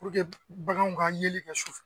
baganw ka ɲɛli kɛ sufɛ